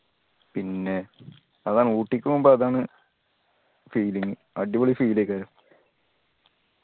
പിന്നെ അതാണ് ഊട്ടിക്ക് പോവുമ്പോ അതാണ് feeling അടിപൊളി feel